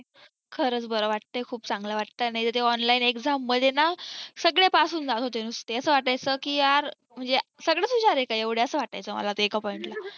खरच बार वाटतय खूप चांगलं वाटतय आणि ते online exam मध्ये ना सगळे pass होऊन जात होते ते असा वाटायचा की यार म्हणजे सगळेच हुशार आहे का एवढं असं वाटायचं मला तर एका POINT ला